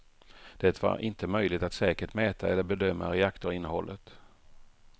Det var inte möjligt att säkert mäta eller bedöma reaktorinnehållet.